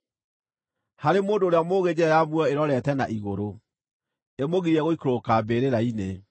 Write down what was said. Harĩ mũndũ ũrĩa mũũgĩ njĩra ya muoyo ĩrorete na igũrũ, ĩmũgirie gũikũrũka mbĩrĩra-inĩ.